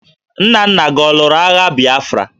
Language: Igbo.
Nna nna gi ọ lụrụ agha Bịafra?